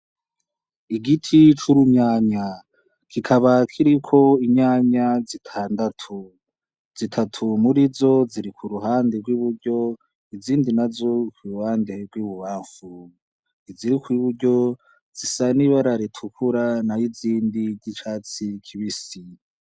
Igiti c'urumyanya gikaba kiriko inyanya zitandatu zitatu muri zo ziriku ruhande rw'i buryo izindi na zo kwibbande rw'ibubafu izirikuw'i buryo zisa n'ibararitukura na yo izindi ry'icatsi kibisi.